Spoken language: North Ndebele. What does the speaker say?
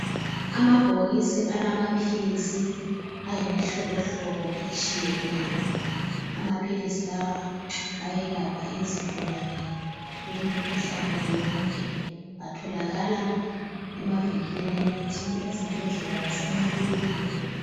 Amabhokisi alamaphilisi ayimihlobohlobo etshiyeneyo. Amaphilisi lawa ayelapha izigulane kumikhuhlane yonke. Atholakala emavinkilini emithi, ezibhedlela lasemakilinika.